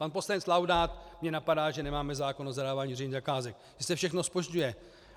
Pan poslanec Laudát mě napadá, že nemáme zákon o zadávání veřejných zakázek, že se všechno zpožďuje.